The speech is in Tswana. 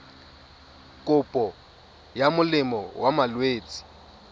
kopo ya molemo wa malwetse